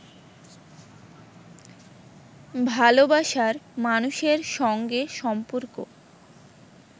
ভালোবাসার মানুষের সঙ্গে সম্পর্ক